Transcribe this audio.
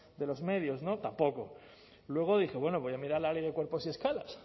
de los medios no tampoco luego dije bueno voy a mirar la ley de cuerpos y escalas